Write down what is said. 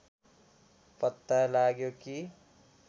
पत्ता लाग्यो कि